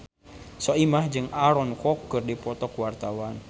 Soimah jeung Aaron Kwok keur dipoto ku wartawan